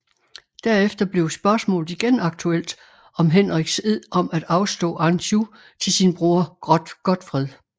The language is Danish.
Derefter blev spørgsmålet igen aktuelt om Henriks ed om at afstå Anjou til sin bror Godfred